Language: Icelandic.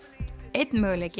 einn möguleiki